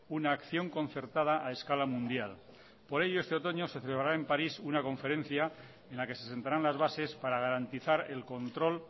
una acción concertada a escala mundial por ello este otoño se celebrará en parís una conferencia en la que se sentarán las bases para garantizar el control